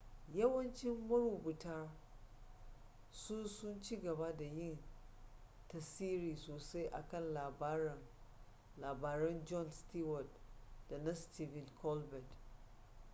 yawancin marubutan su sun ci gaba da yin tasiri sosai a kan labaran jon stewart da na stephen colbert